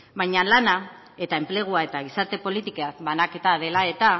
baina lana eta enplegua eta gizarte politikak banaketa dela eta